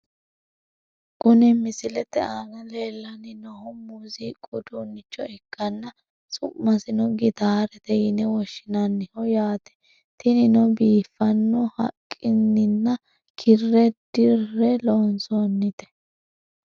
Kuni misilete aana leellanni noohu muuziiqu uduunnicho ikkanna, su'masino gitaarete yine woshshinanniho yaate, tinino biifanno haqqininna kirre dirre loonsoonnite .